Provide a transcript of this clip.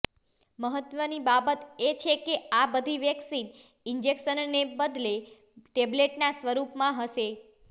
મહત્વની બાબત એ છે કે આ બધી વેક્સિન ઇન્જેક્શનને બદલે ટેબ્લેટના સ્વરૂપમાં હશે